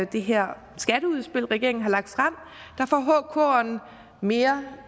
det her skatteudspil regeringen har lagt frem får hkeren mere